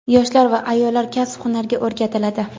yoshlar va ayollar kasb-hunarga o‘rgatiladi.